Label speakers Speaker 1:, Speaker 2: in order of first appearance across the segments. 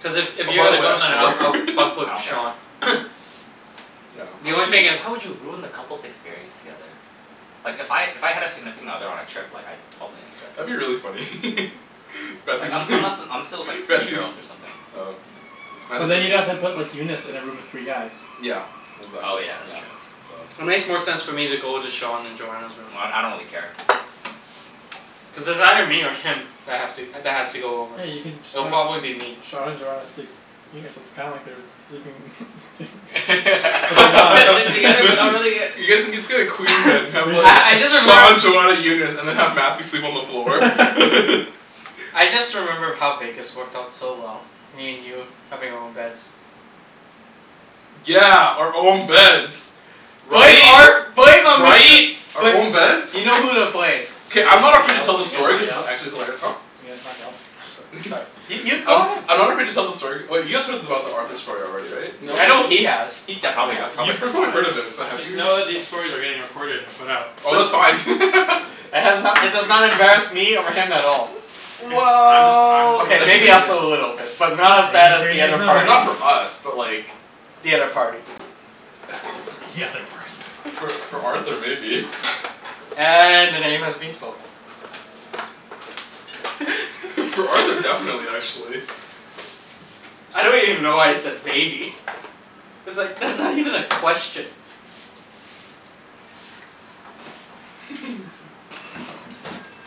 Speaker 1: Plus if if
Speaker 2: Oh
Speaker 1: you're
Speaker 2: by the
Speaker 1: gonna
Speaker 2: way
Speaker 1: go
Speaker 2: I
Speaker 1: then I'll
Speaker 2: snore
Speaker 1: I'll bunk
Speaker 3: I
Speaker 1: with
Speaker 3: don't care.
Speaker 1: Sean.
Speaker 2: Yeah.
Speaker 1: The
Speaker 3: How
Speaker 1: only
Speaker 3: would
Speaker 1: thing is
Speaker 3: you, how would you have ruined the couples' experience together? Like if I, if I had a significant other on a trip like I'd probably insist.
Speaker 2: That'd be really funny
Speaker 3: Like un- unless and unless it was like three
Speaker 2: Matthew
Speaker 3: girls or something.
Speaker 2: Oh yeah,
Speaker 4: But
Speaker 2: Matthew's
Speaker 4: then you'd have have
Speaker 2: room.
Speaker 4: to put Eunice in a room with three guys.
Speaker 2: Yeah.
Speaker 3: Oh
Speaker 2: Exactly,
Speaker 3: yeah, that's
Speaker 2: yeah.
Speaker 3: true.
Speaker 2: So
Speaker 1: It makes more sense for me to go into Sean and Joanna's room.
Speaker 3: Well d- I don't really care.
Speaker 1: Cuz it's either me or him that have to that has to go over.
Speaker 4: Yeah, you can just
Speaker 1: It'll
Speaker 4: have
Speaker 1: probably be me.
Speaker 4: Sean and Joanna sleep. Yeah, so it's kinda like they're sleeping
Speaker 3: They're
Speaker 4: but they're not
Speaker 3: together but not really yet.
Speaker 2: You guys can just get a queen bed and
Speaker 4: We
Speaker 2: have
Speaker 4: can
Speaker 2: like
Speaker 1: I I
Speaker 4: just
Speaker 1: just
Speaker 2: Sean
Speaker 1: remembered
Speaker 2: Joanna Eunice, and then have Matthew sleep on the floor.
Speaker 1: I just remember how Vegas worked out so well. Me and you having our own beds.
Speaker 2: Yeah, our own beds.
Speaker 1: Blame
Speaker 2: Right?
Speaker 1: Arth- blame um Mister.
Speaker 2: Right? Our own beds?
Speaker 1: You know who to blame.
Speaker 4: Can
Speaker 2: K,
Speaker 4: you
Speaker 2: I'm
Speaker 4: guys
Speaker 2: not
Speaker 4: not
Speaker 2: afraid
Speaker 4: yell?
Speaker 2: to tell
Speaker 4: Can
Speaker 2: the
Speaker 4: you guys
Speaker 2: story
Speaker 4: not
Speaker 2: cuz it's
Speaker 4: yell?
Speaker 2: actually hilarious. Huh?
Speaker 4: Can you guys not yell?
Speaker 2: I'm sorry
Speaker 1: Sorry, you you go
Speaker 2: I'm
Speaker 1: ahead.
Speaker 2: I'm not afraid to tell the story, wait you guys heard about the Arthur story already, right?
Speaker 4: Nope.
Speaker 2: In
Speaker 1: I know
Speaker 2: Vegas?
Speaker 1: he has. He
Speaker 3: I
Speaker 1: definitely
Speaker 3: probably got
Speaker 1: has.
Speaker 3: I
Speaker 2: You
Speaker 3: probably forgot.
Speaker 2: heard of it but have
Speaker 4: Just
Speaker 2: you
Speaker 4: know that these stories are getting recorded and put out.
Speaker 2: Oh that's
Speaker 1: It's
Speaker 2: fine
Speaker 1: It has no- it does not embarrass me over him at all.
Speaker 4: Guys I'm just I'm just
Speaker 2: Well
Speaker 1: K,
Speaker 4: making sure
Speaker 1: maybe
Speaker 4: you
Speaker 1: us
Speaker 4: guys
Speaker 1: a little bit. But not as bad
Speaker 4: Making
Speaker 1: as
Speaker 4: sure you
Speaker 1: the
Speaker 4: guys
Speaker 1: other
Speaker 4: know.
Speaker 2: I mean
Speaker 1: party.
Speaker 2: not for us but like
Speaker 1: The other party.
Speaker 4: The other party.
Speaker 2: For for Arthur maybe.
Speaker 1: And the name has been spoken.
Speaker 2: For Arthur, definitely actually.
Speaker 1: I don't even know why you said maybe. It's like, that's not even a question.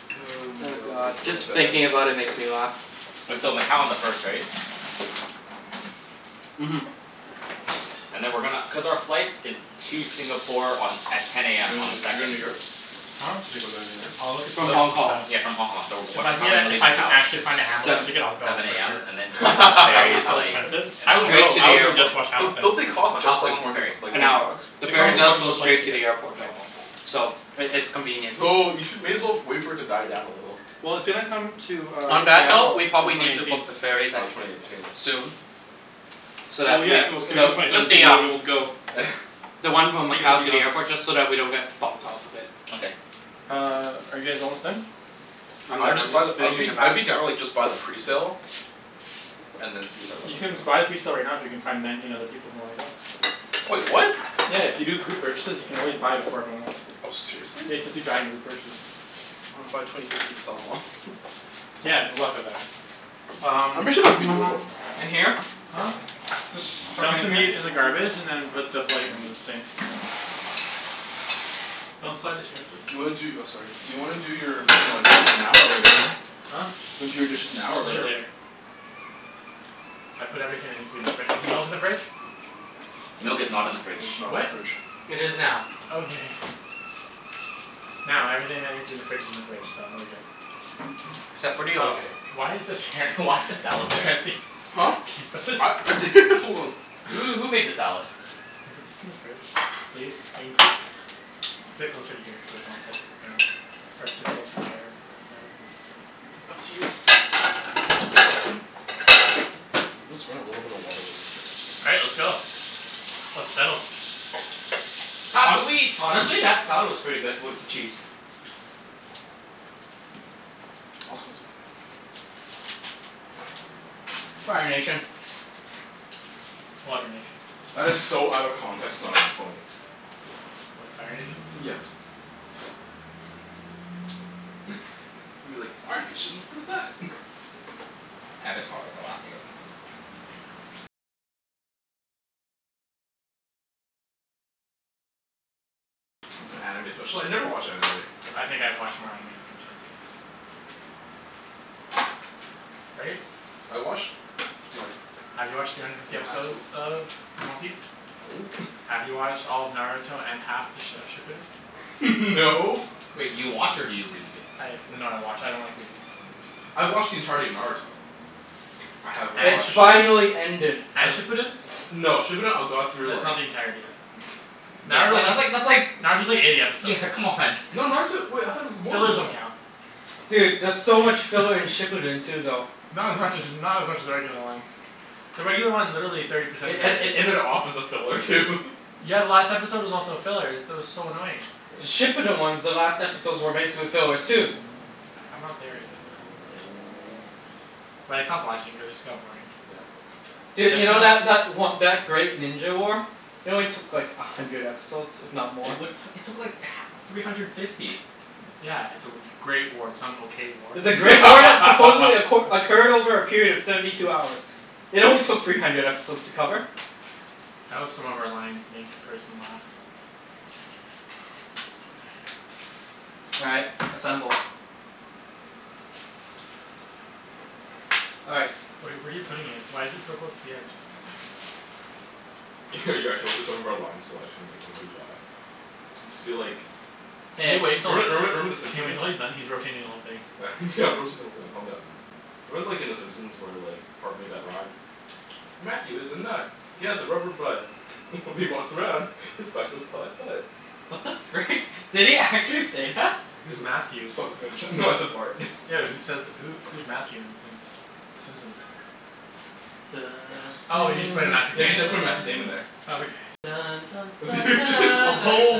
Speaker 2: my
Speaker 1: Oh
Speaker 2: god,
Speaker 1: god,
Speaker 2: that's
Speaker 1: just
Speaker 2: so sad.
Speaker 1: thinking about it makes me laugh.
Speaker 3: Wait, so Macau on the first right?
Speaker 1: Mhm.
Speaker 3: And then we're gonna, cuz our flight is to Singapore on, at ten
Speaker 2: You
Speaker 3: AM on the
Speaker 2: doin' you're goin'
Speaker 3: second.
Speaker 2: to New York?
Speaker 4: Huh?
Speaker 2: Talking about going to New York?
Speaker 4: I'll look at
Speaker 3: So s-
Speaker 1: From
Speaker 4: tickets
Speaker 1: Hong
Speaker 4: and
Speaker 1: Kong.
Speaker 4: stuff.
Speaker 3: s- yeah from Hong Kong, so
Speaker 4: If
Speaker 3: what
Speaker 4: I can
Speaker 3: time are
Speaker 4: get
Speaker 3: we
Speaker 4: a
Speaker 3: gonna
Speaker 4: if
Speaker 3: leave
Speaker 4: I can
Speaker 3: Macau?
Speaker 4: actually find a Hamilton
Speaker 1: Seven.
Speaker 4: ticket I'll go
Speaker 3: Seven
Speaker 4: for
Speaker 3: AM,
Speaker 4: sure.
Speaker 3: and then like the
Speaker 4: But it'll
Speaker 3: ferry
Speaker 4: be
Speaker 3: is
Speaker 4: so
Speaker 3: like,
Speaker 4: expensive.
Speaker 3: an
Speaker 4: I would
Speaker 3: hour?
Speaker 1: Straight
Speaker 4: go,
Speaker 1: to
Speaker 4: I
Speaker 1: the
Speaker 4: would go just
Speaker 1: airport.
Speaker 4: to watch
Speaker 2: Don't
Speaker 4: Hamilton.
Speaker 2: don't they cost
Speaker 3: But how
Speaker 2: just
Speaker 3: how
Speaker 2: like
Speaker 3: long is
Speaker 2: four
Speaker 3: the
Speaker 2: hundred
Speaker 3: ferry?
Speaker 2: like
Speaker 1: An
Speaker 2: four
Speaker 1: hour.
Speaker 2: hundred bucks?
Speaker 1: The
Speaker 4: They
Speaker 1: ferry
Speaker 4: cost as
Speaker 1: does
Speaker 4: much as
Speaker 1: go
Speaker 4: a plane
Speaker 1: straight to
Speaker 4: ticket.
Speaker 1: the airport though. So it it's convenient.
Speaker 2: So you should, may as well wait for it to die down a little.
Speaker 4: Well, it's gonna come to uh
Speaker 1: On that note,
Speaker 4: Seattle
Speaker 1: we
Speaker 4: in
Speaker 1: probably
Speaker 4: twenty
Speaker 1: need to
Speaker 4: eighteen.
Speaker 1: book the ferries
Speaker 2: Oh,
Speaker 1: at,
Speaker 2: twenty eighteen.
Speaker 1: soon. So
Speaker 4: Well
Speaker 1: that
Speaker 4: yeah,
Speaker 1: we,
Speaker 4: if it was gonna come
Speaker 1: though,
Speaker 4: twenty
Speaker 1: just
Speaker 4: seventeen
Speaker 1: the
Speaker 4: you wouldn't be
Speaker 1: um
Speaker 4: able to go.
Speaker 1: The one from
Speaker 4: Tickets would
Speaker 1: Macau
Speaker 4: be
Speaker 1: to
Speaker 4: gone.
Speaker 1: the airport, just so that we don't get bumped off of it.
Speaker 3: Okay.
Speaker 4: Uh, are you guys almost done?
Speaker 1: I'm
Speaker 2: I would
Speaker 1: done, I'm
Speaker 2: just buy the,
Speaker 1: just
Speaker 2: I would
Speaker 1: finishing
Speaker 2: be
Speaker 1: the
Speaker 2: I would
Speaker 1: mash.
Speaker 2: be down to like just buy the presale. And then see if everyone
Speaker 4: You
Speaker 2: would
Speaker 4: can
Speaker 2: go.
Speaker 4: just buy the presale right now if you can find nineteen other people who wanna go.
Speaker 2: Wait, what?
Speaker 4: Yeah, if you do group purchases you can always buy them for everyone else.
Speaker 2: Oh, seriously?
Speaker 4: Yeah, you just have to giant group purchase.
Speaker 2: I wanna buy twenty tickets and sell 'em off
Speaker 4: Yeah, good luck with that.
Speaker 2: I'm
Speaker 1: Um
Speaker 2: pretty sure that'd be doable.
Speaker 1: in here?
Speaker 4: Huh?
Speaker 1: Just chuck it
Speaker 4: Dump the
Speaker 1: in here?
Speaker 4: meat in the garbage and then put the plate in the sink. Don't slide the chairs please.
Speaker 2: Do you wanna do, oh sorry, do you wanna do your uh dishes now or later?
Speaker 4: Huh?
Speaker 2: Do you wanna do your dishes now or
Speaker 4: We'll do it
Speaker 2: later?
Speaker 4: later. I put everything that needs to be in the fri- is the milk in the fridge?
Speaker 3: Milk is not in the
Speaker 2: Milk
Speaker 3: fridge.
Speaker 2: is not in
Speaker 4: What?
Speaker 2: the fridge.
Speaker 1: It is now.
Speaker 4: Okay. Now everything that needs to be in the fridge is in the fridge, so we're good.
Speaker 1: Except for the O
Speaker 4: Oh,
Speaker 1: J.
Speaker 4: why is this here
Speaker 3: Why is the salad there?
Speaker 4: Chancey.
Speaker 2: Huh?
Speaker 4: What's this
Speaker 2: Hold on.
Speaker 3: Who who made the salad?
Speaker 4: Could you put this in the fridge? Please? Thank you. Sit closer to here so we can all sit around or sit closer to there Up to you. Uh is this everything? Okay.
Speaker 2: Let's run a little bit of water real quick.
Speaker 4: All right, let's go. Let's settle.
Speaker 3: Pass the
Speaker 1: Hon-
Speaker 3: wheat.
Speaker 1: honestly, that salad was pretty good with the cheese.
Speaker 2: I was gonna sit there.
Speaker 1: Fire Nation.
Speaker 4: Water Nation.
Speaker 2: That is so out of context it's not even funny.
Speaker 4: What, Fire Nation?
Speaker 2: Yeah. You're like "Fire Nation? What is that?"
Speaker 3: Avatar, the Last Airbender.
Speaker 2: I'm not an anime special- I never watch anime.
Speaker 4: I think I've watched more anime than you Chancey. Right?
Speaker 2: I watched like
Speaker 4: Have you watched three hundred fifty
Speaker 2: in high
Speaker 4: episodes
Speaker 2: school
Speaker 4: of One Piece?
Speaker 2: No.
Speaker 4: Have you watched all of Naruto and half th- of Shippuden?
Speaker 2: No.
Speaker 3: Wait, you watch or do you read?
Speaker 4: I have, no I watch, I don't like reading.
Speaker 2: I've watched the entirety of Naruto. I have
Speaker 1: It
Speaker 4: And
Speaker 2: watched
Speaker 4: Shippuden?
Speaker 1: finally ended.
Speaker 2: Uh
Speaker 4: And Shippuden?
Speaker 2: No, Shippuden I got through
Speaker 4: That's
Speaker 2: like
Speaker 4: not the entirety then.
Speaker 3: Yeah it's
Speaker 4: Naruto
Speaker 3: like
Speaker 4: was,
Speaker 3: that's like that's like.
Speaker 4: Naruto's like eighty episodes.
Speaker 3: Yeah, come on.
Speaker 2: No, Naruto, wait I thought it was more than
Speaker 4: Fillers
Speaker 2: that.
Speaker 4: don't count.
Speaker 1: Dude, there's so much filler in Shippuden too though.
Speaker 4: Not as much as, not as much as the regular one. The regular one, literally thirty percent
Speaker 2: It
Speaker 4: of it
Speaker 2: ed- it
Speaker 4: is
Speaker 2: ended off as a filler too
Speaker 4: Yeah, the last episode was also a filler. Is, that was so annoying.
Speaker 1: The
Speaker 2: Yeah.
Speaker 1: Shippuden ones, the last episodes were basically fillers too.
Speaker 4: I'm not there yet um But I stopped watching cuz it just got boring.
Speaker 2: Yeah.
Speaker 4: Def
Speaker 1: Dude, you know
Speaker 4: wanna
Speaker 1: that that o- that Great Ninja War? It only took like a hundred episodes, if not more.
Speaker 3: It what, it took like h- three hundred fifty.
Speaker 4: Yeah, it's a w- great war. It's not an okay war.
Speaker 1: It's a great war that supposedly acqu- occurred over a period of seventy two hours. It only took three hundred episodes to cover.
Speaker 4: I hope some of our lines make the person laugh.
Speaker 1: All right, assemble. All right.
Speaker 4: Where are you where are you putting it? Why is it so close to the edge?
Speaker 2: You're actually hoping some of our lines will actually make everybody laugh. Just be like
Speaker 4: Can
Speaker 1: Hey.
Speaker 4: you wait until it's,
Speaker 2: Remember remember remember the
Speaker 4: can you wait
Speaker 2: Simpsons?
Speaker 4: until he's done? He's rotating the whole thing.
Speaker 2: Yeah I'm rotating the whole thing, calm down. Remember like in the Simpsons where like Bart made that rhyme? "Matthew is a nut, he has a rubber butt." "When he walks around, his butt goes putt putt."
Speaker 1: What the frick? Did he actually say that?
Speaker 2: Someone's
Speaker 4: Who's
Speaker 2: gonna
Speaker 4: Matthew?
Speaker 2: s- someone's gonna tr- no I said Bart.
Speaker 4: Yo who says th- who who's Matthew in in Simpsons?
Speaker 1: The
Speaker 2: Bunch of
Speaker 4: Oh you just put in
Speaker 2: Simpsons.
Speaker 4: Matthew's
Speaker 2: Yeah, you
Speaker 4: name?
Speaker 2: just gotta put Matthew's name in there.
Speaker 4: Oh okay.
Speaker 1: Simpsons.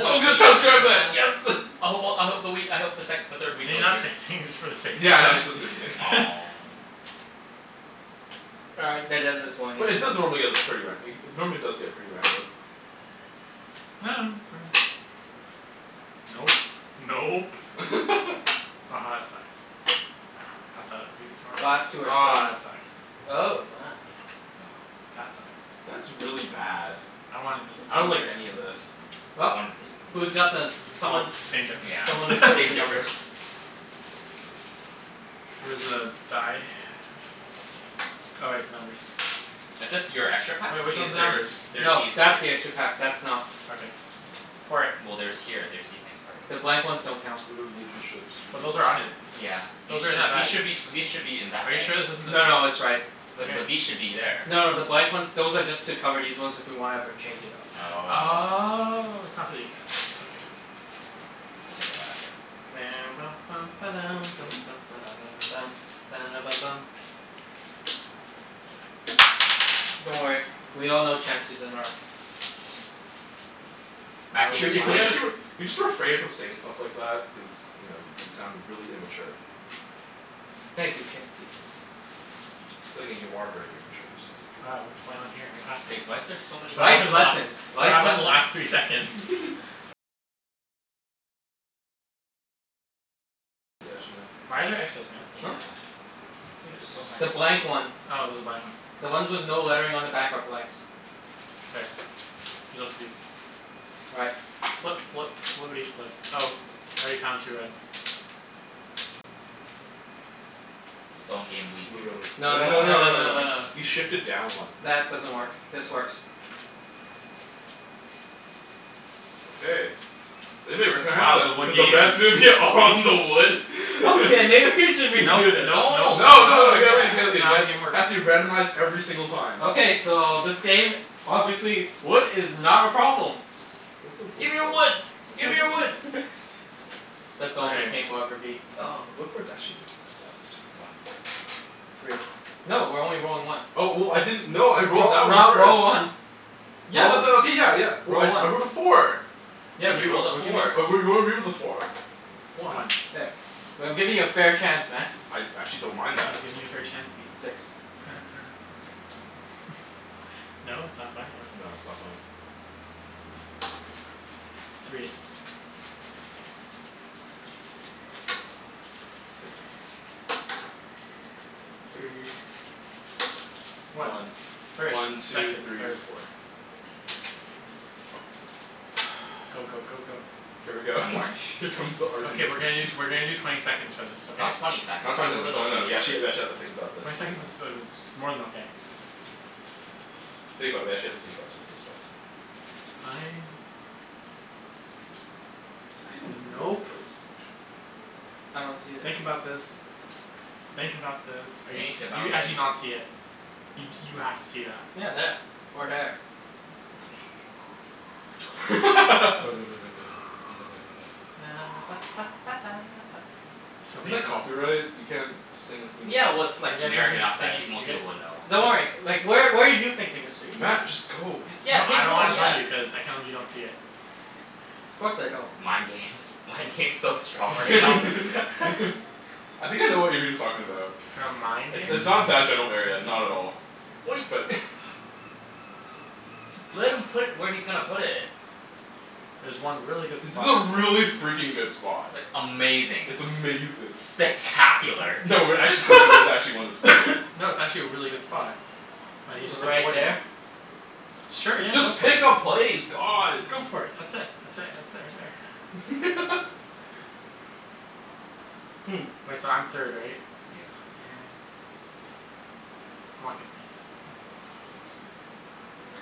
Speaker 2: Someone's gonna transcribe that. Yes!
Speaker 3: I hope well I hope the wheat, I hope the sec- the third wheat
Speaker 4: Can you
Speaker 3: goes
Speaker 4: not say
Speaker 3: here.
Speaker 4: anything just for the sake of
Speaker 2: Yeah, I know,
Speaker 4: that?
Speaker 2: just
Speaker 1: All right, that dice is going in
Speaker 2: But it
Speaker 1: like
Speaker 2: does normally
Speaker 1: that.
Speaker 2: get this pretty ra- normally does get pretty random.
Speaker 4: Nope. Nope. Aha that sucks. I thought it was gonna be
Speaker 1: Last two
Speaker 4: smartest.
Speaker 1: are
Speaker 4: Aw
Speaker 1: stone,
Speaker 4: that sucks.
Speaker 1: oh my.
Speaker 4: That sucks.
Speaker 2: That's really bad.
Speaker 4: I wanted this to be
Speaker 2: I don't like any
Speaker 4: here.
Speaker 2: of this.
Speaker 1: Well.
Speaker 3: I wanted this to be
Speaker 1: Who's got
Speaker 3: uh
Speaker 1: the,
Speaker 4: Well,
Speaker 1: someone
Speaker 4: same
Speaker 3: Yeah,
Speaker 4: difference.
Speaker 1: someone
Speaker 3: it's
Speaker 1: sort the
Speaker 3: same
Speaker 1: numbers.
Speaker 3: difference.
Speaker 4: Where's the die? Oh wait, numbers.
Speaker 3: Is this your extra pack?
Speaker 4: Wait, which
Speaker 3: These,
Speaker 4: one's the
Speaker 3: there is,
Speaker 4: numbers?
Speaker 3: there's
Speaker 1: No,
Speaker 3: these here.
Speaker 1: that's the extra pack. That's not.
Speaker 4: Okay. Pour it.
Speaker 3: Well there's here, there's these things part of
Speaker 1: The
Speaker 3: it.
Speaker 1: blank ones don't count.
Speaker 2: We don't need the ships, we're
Speaker 4: But
Speaker 2: not
Speaker 4: those
Speaker 2: going
Speaker 4: are
Speaker 2: to
Speaker 4: on
Speaker 2: play
Speaker 4: it.
Speaker 2: with them.
Speaker 3: Yeah. These
Speaker 4: Those are in
Speaker 3: should,
Speaker 4: our
Speaker 3: these
Speaker 4: bags.
Speaker 3: should be, these should be in that
Speaker 4: Are you
Speaker 3: bag.
Speaker 4: sure this isn't the
Speaker 1: No no, it's right.
Speaker 4: Wait
Speaker 3: Wait, but
Speaker 4: but
Speaker 3: these should be there.
Speaker 1: No no, the blank ones, those are just to cover these ones if we wanna ever change it up.
Speaker 3: Oh.
Speaker 4: Oh, it's not for these guys, okay.
Speaker 3: We'll take them out after.
Speaker 1: Don't worry, we all know Chancey's a narc.
Speaker 4: Oh
Speaker 3: Matthew,
Speaker 2: Can
Speaker 3: can you
Speaker 2: you can you
Speaker 3: please
Speaker 4: why
Speaker 3: just
Speaker 2: actually r- can you just refrain from saying stuff like that? Cuz you know y- you sound really immature.
Speaker 1: Thank you Chancey.
Speaker 2: But then again, you are very immature, so
Speaker 4: Uh what's going on here? What happened?
Speaker 3: Wait, why is there so many
Speaker 4: What
Speaker 1: Life
Speaker 4: happened the last
Speaker 1: lessons,
Speaker 4: what
Speaker 1: life
Speaker 4: happened
Speaker 1: lessons.
Speaker 4: the last three seconds? Why are there extras, Matt?
Speaker 3: Yeah,
Speaker 1: Huh?
Speaker 2: I think
Speaker 3: there's
Speaker 2: this
Speaker 3: so
Speaker 1: The
Speaker 3: many.
Speaker 1: blank
Speaker 2: is one.
Speaker 1: one.
Speaker 4: Oh there's a blank one.
Speaker 1: The ones with no lettering on the back are blanks.
Speaker 4: K, there's also these.
Speaker 1: All right.
Speaker 4: Flip flip flippity flip. Oh, I already found two reds.
Speaker 3: Stone game weak.
Speaker 2: Move it over.
Speaker 1: No
Speaker 2: No no
Speaker 1: that's,
Speaker 2: no
Speaker 1: tha- no
Speaker 2: no
Speaker 1: no
Speaker 2: no
Speaker 1: no no
Speaker 2: no,
Speaker 1: no.
Speaker 2: you shifted down one.
Speaker 1: That doesn't work, this works.
Speaker 2: Okay, does anybody recognize
Speaker 4: Wow, the wood
Speaker 2: that the
Speaker 4: games.
Speaker 2: red's gonna be all on the wood?
Speaker 1: Okay, maybe we should
Speaker 4: Nope
Speaker 1: redo this.
Speaker 4: nope
Speaker 3: No no, no
Speaker 4: nope nope
Speaker 2: No no no
Speaker 4: nope.
Speaker 2: you gotta leave it
Speaker 3: yeah.
Speaker 2: you gotta
Speaker 4: It's
Speaker 2: leave it
Speaker 4: not how the
Speaker 2: got
Speaker 4: game works.
Speaker 2: Has to be randomized every single time
Speaker 1: Okay, so this game, obviously wood is not a problem.
Speaker 2: Where's the wood
Speaker 3: Gimme your
Speaker 2: port?
Speaker 3: wood!
Speaker 2: Oh it's
Speaker 3: Gimme your
Speaker 2: right
Speaker 3: wood!
Speaker 2: there.
Speaker 1: That's all this
Speaker 4: Okay.
Speaker 1: game will ever be.
Speaker 2: Oh the wood port's actually not that bad this
Speaker 3: One.
Speaker 2: time.
Speaker 1: Three. No, we're only rolling one.
Speaker 2: Oh w- w- I didn't, no I rolled
Speaker 1: Roll,
Speaker 2: that one
Speaker 1: roll,
Speaker 2: first.
Speaker 1: roll one.
Speaker 2: Yeah
Speaker 1: Roll,
Speaker 2: but that, okay, yeah yeah,
Speaker 1: roll one.
Speaker 2: I rolled a four.
Speaker 1: Yeah,
Speaker 3: Yeah, he rolled
Speaker 1: re-roll.
Speaker 3: a
Speaker 1: We're giving
Speaker 3: four.
Speaker 2: a four. Whatever, one.
Speaker 4: One.
Speaker 1: There. We- I'm giving you a fair chance, man.
Speaker 2: I I actually don't mind
Speaker 4: He's
Speaker 2: that.
Speaker 4: giving you a fair Chancey.
Speaker 1: Six.
Speaker 4: No? it's not funny? Okay.
Speaker 2: No, it's not funny.
Speaker 4: Three. Six.
Speaker 1: Three.
Speaker 4: Three. One.
Speaker 2: One.
Speaker 4: First,
Speaker 2: One, two,
Speaker 4: second,
Speaker 2: three,
Speaker 4: third,
Speaker 2: four.
Speaker 4: fourth. Go go go go.
Speaker 2: Here we go
Speaker 3: I'm orange.
Speaker 2: Here comes the argument
Speaker 4: Okay we're gonna do t- we're gonna do twenty seconds for this, okay?
Speaker 3: Not twenty seconds.
Speaker 2: Not twenty
Speaker 3: That's a
Speaker 2: seconds,
Speaker 3: little
Speaker 2: no
Speaker 3: too
Speaker 2: no, we
Speaker 3: short.
Speaker 2: actually we actually have to think about this
Speaker 4: Twenty seconds
Speaker 2: sometimes.
Speaker 4: is uh is more than okay.
Speaker 2: Think about it, we actually have to think about some of this stuff.
Speaker 4: Fine.
Speaker 2: I see some
Speaker 4: N-
Speaker 2: really good
Speaker 4: nope.
Speaker 2: places actually.
Speaker 1: I don't see that.
Speaker 4: Think about this. Think about this. Are you s-
Speaker 3: Think
Speaker 4: do you
Speaker 3: about
Speaker 4: actually
Speaker 3: thi-
Speaker 4: not see it? You d- you have to see that.
Speaker 1: Yeah, there, or there.
Speaker 4: So
Speaker 2: Isn't that
Speaker 4: painful.
Speaker 2: copyright? You can't sing a theme
Speaker 3: Yeah well,
Speaker 2: song.
Speaker 3: it's like
Speaker 4: You guys have
Speaker 3: generic
Speaker 4: been
Speaker 3: enough that
Speaker 4: say-
Speaker 3: pe- most
Speaker 4: you guy-
Speaker 3: people would know.
Speaker 1: Don't worry, like where where are you thinking Mr. Ibrahim?
Speaker 2: Matt, just go.
Speaker 3: You s- yeah
Speaker 4: No
Speaker 3: pick,
Speaker 4: I don't
Speaker 3: no
Speaker 4: wanna tell
Speaker 3: yeah
Speaker 4: you, cuz I can't believe you don't see it.
Speaker 1: Of course I don't.
Speaker 3: Mind games, mind games so strong right now.
Speaker 2: I think I know what Ibrahim's talking about.
Speaker 4: Mind
Speaker 2: It's
Speaker 4: games?
Speaker 2: it's not in that general area, not at all,
Speaker 3: What he
Speaker 2: but
Speaker 3: Just let him put where he's gonna put it.
Speaker 4: There's one really good
Speaker 2: It's
Speaker 4: spot to
Speaker 2: a
Speaker 4: play.
Speaker 2: really freakin' good spot.
Speaker 3: Amazing.
Speaker 2: It's amazing.
Speaker 3: Spectacular.
Speaker 2: No we're actually serious, there's actually one that's really good.
Speaker 4: No, it's actually a really good spot. But he's just
Speaker 1: Right
Speaker 4: avoiding it.
Speaker 1: there?
Speaker 4: Sure, yeah, go
Speaker 2: Just
Speaker 4: for it.
Speaker 2: pick a place, god.
Speaker 4: Go for it. That's it, that's it, that's it right there.
Speaker 1: Hmm.
Speaker 4: Wait, so I'm third right?
Speaker 3: Yeah.
Speaker 4: Oh man. I'm not gonna get it.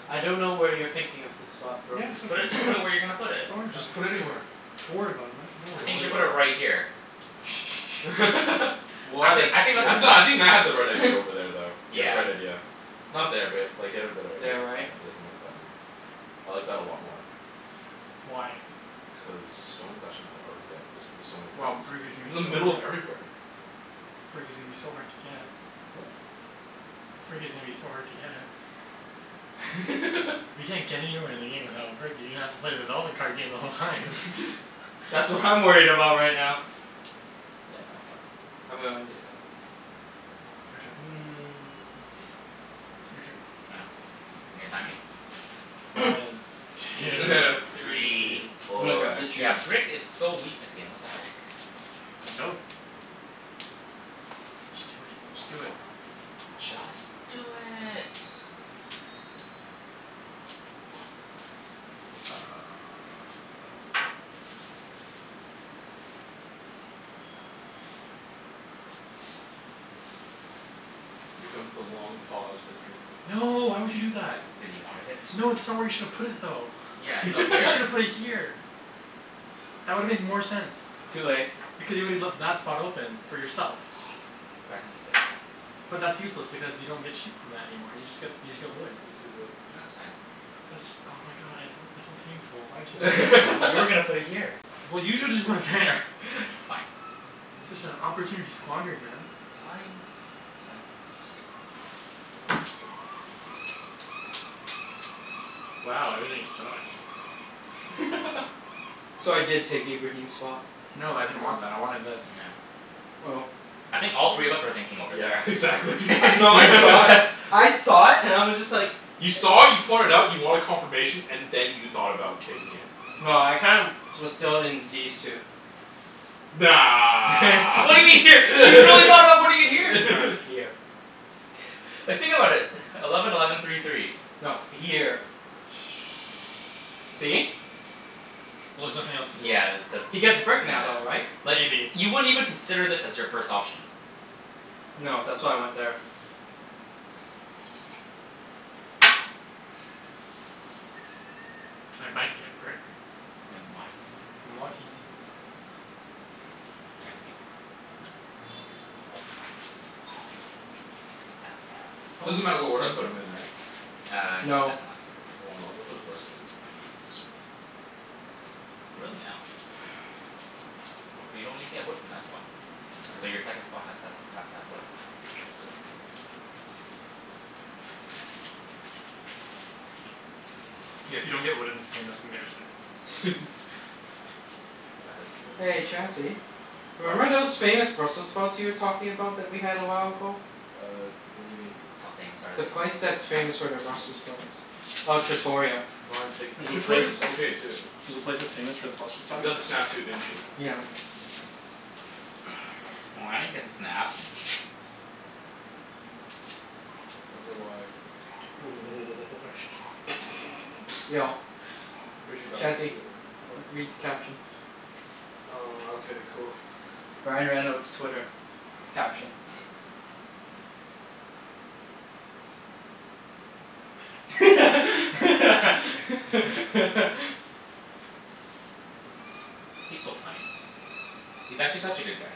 Speaker 1: I don't know where you're thinking of the spot bro.
Speaker 4: Yeah, it's
Speaker 3: Just
Speaker 4: right
Speaker 3: put it, just put it where you're gonna put
Speaker 4: there.
Speaker 3: it.
Speaker 4: Don't worry about
Speaker 2: Just
Speaker 4: it.
Speaker 2: put anywhere.
Speaker 4: Don't worry about it man, don't
Speaker 3: I
Speaker 4: worry
Speaker 2: Don't
Speaker 4: about
Speaker 3: think you
Speaker 2: worry
Speaker 3: should
Speaker 4: it.
Speaker 3: put
Speaker 2: about
Speaker 3: it
Speaker 2: it.
Speaker 3: right here. I
Speaker 1: What a
Speaker 3: think I think that's the
Speaker 1: jerk.
Speaker 2: No, I
Speaker 3: spot.
Speaker 2: think Matt had the right idea over there though. He had the
Speaker 3: Yeah.
Speaker 2: right idea. Not there but like he had a better idea,
Speaker 1: There,
Speaker 2: yeah
Speaker 1: right?
Speaker 2: you got something like that, yeah. I like that a lot more.
Speaker 4: Why?
Speaker 2: Cuz stone's actually not that hard to get. It's gonna be so many
Speaker 4: Well,
Speaker 2: places.
Speaker 4: brick is
Speaker 2: It's
Speaker 4: gonna
Speaker 2: in the
Speaker 4: be so
Speaker 2: middle of
Speaker 4: hard.
Speaker 2: everywhere.
Speaker 4: Brick is gonna be so hard to get. Brick is gonna be so hard to get. You can't get anywhere in the game without brick, you're gonna have to play the development card game the whole time.
Speaker 1: That's what I'm worried about right now. Yeah no fuck, I'm gonna undo that.
Speaker 4: Your turn. Your turn.
Speaker 3: I know. You're gonna time me?
Speaker 4: One, two,
Speaker 2: Three,
Speaker 4: three.
Speaker 1: I'm gonna
Speaker 2: four
Speaker 1: grab the
Speaker 3: Yeah,
Speaker 1: juice.
Speaker 3: brick is so weak this game, what the heck.
Speaker 4: Go. Just do it, just do it.
Speaker 3: Just do it.
Speaker 2: Here comes the long pause for three minutes.
Speaker 4: No, why would you do that?
Speaker 3: Cuz you wanted it.
Speaker 4: No, that's not where you shoulda put it though.
Speaker 3: Yeah, no,
Speaker 4: You
Speaker 3: here.
Speaker 4: shoulda put it here. That would've made more sense,
Speaker 1: Too late.
Speaker 4: because you woulda left that spot open for yourself.
Speaker 3: But I can take this back.
Speaker 4: But that's useless because you don't get sheep from that anymore, you just get, you just get wood.
Speaker 2: He needs to get
Speaker 3: No,
Speaker 2: wood.
Speaker 3: it's fine.
Speaker 4: That's, oh my god, that's so painful, why would you do that?
Speaker 3: Cuz you were gonna put it here.
Speaker 4: Well you shoulda just put it there
Speaker 3: It's fine.
Speaker 4: Such a opportunity squandered man.
Speaker 3: It's fine, that's fine, it's fine. Just go.
Speaker 2: Oops, go.
Speaker 4: Wow, everything sucks.
Speaker 1: So I did take Ibrahim's spot.
Speaker 4: No, I didn't
Speaker 2: No.
Speaker 4: want that, I wanted this.
Speaker 3: No.
Speaker 1: Oh.
Speaker 3: I think all
Speaker 2: I
Speaker 3: three of
Speaker 2: would've,
Speaker 3: us were thinking over
Speaker 2: yeah
Speaker 3: there.
Speaker 2: exactly
Speaker 1: No, I saw it. I saw it and I was just like
Speaker 2: You saw it, you point it out, you wanted confirmation, and then you thought about taking it.
Speaker 1: No, I kinda was still in these two.
Speaker 2: Nah.
Speaker 3: What do you mean here? You really thought about putting it here?
Speaker 1: No, here.
Speaker 3: Like think about it. Eleven eleven three three.
Speaker 1: No, here.
Speaker 3: Oh.
Speaker 4: Shh,
Speaker 1: See?
Speaker 4: well there's nothing else to do.
Speaker 3: Yeah that's cuz,
Speaker 1: He gets brick now though, right?
Speaker 3: nah Like
Speaker 4: Maybe.
Speaker 3: you wouldn't even consider this as your first option.
Speaker 1: No, that's why I went there.
Speaker 4: I might get brick.
Speaker 3: Ya might.
Speaker 4: If I'm lucky.
Speaker 3: Chancey?
Speaker 2: Crap.
Speaker 3: Crap. Oh no.
Speaker 1: Oh
Speaker 2: Doesn't
Speaker 1: snap.
Speaker 2: matter what order I put 'em in right?
Speaker 3: Uh no, it
Speaker 1: No.
Speaker 3: does not.
Speaker 2: Mkay, well I'll go for the first one and get some
Speaker 3: Really now? But you don't even get wood from that spot. So your second
Speaker 2: I
Speaker 3: spot has to has have
Speaker 2: don't
Speaker 3: to have wood.
Speaker 2: get. Exactly.
Speaker 4: Yeah, if you don't get wood in this game that's embarrassing.
Speaker 2: Yeah, I had the one I'm
Speaker 1: Hey
Speaker 2: gonna put there.
Speaker 1: Chancey.
Speaker 2: What?
Speaker 1: Remember those famous Brussels sprouts you were talking about that we had a while ago?
Speaker 2: Uh what do you mean?
Speaker 3: How famous are
Speaker 1: The
Speaker 3: they?
Speaker 1: place that's famous for their Brussels sprouts. Oh, Trattoria.
Speaker 2: Flying Pig,
Speaker 4: There's a place,
Speaker 2: Trattoria's okay too.
Speaker 4: there's a place that's famous for its Brussels
Speaker 2: You
Speaker 4: sprouts?
Speaker 2: got the snap too, didn't you?
Speaker 1: Yeah.
Speaker 3: Oh, I didn't get the snap.
Speaker 2: Wonder why?
Speaker 1: Yo
Speaker 2: I'm pretty sure you're not supposed to
Speaker 1: Chancey,
Speaker 2: do it right now.
Speaker 1: read
Speaker 2: What?
Speaker 1: the caption.
Speaker 2: Uh okay cool.
Speaker 1: Ryan Reynolds' Twitter. Caption.
Speaker 3: He's so funny. He's actually such a good guy.